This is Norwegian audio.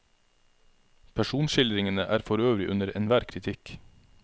Personskildringene er forøvrig under enhver kritikk.